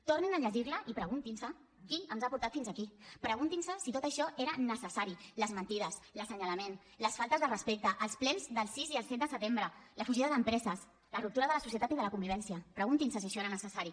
tornin a llegir la i preguntin se qui ens ha portat fins aquí preguntin se si tot això era necessari les mentides l’assenyalament les faltes de respecte els plens del sis i el set de setembre la fugida d’empreses la ruptura de la societat i de la convivència preguntin se si això era necessari